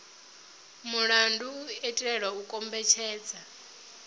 mulandu u itela u kombetshedza